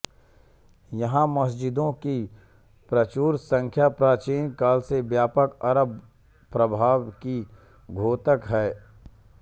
यहाँ मस्जिदों की प्रचुर संख्या प्राचीन काल के व्यापक अरब प्रभाव की द्योतक है